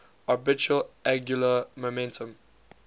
orbital angular momentum